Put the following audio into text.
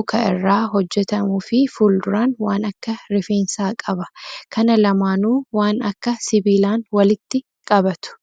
muka irraa hojjatamuu fi fuulduraan waan akka rifeensaa qaba. Kana lamaanuu waan akka sibiilaan walitti qabatu.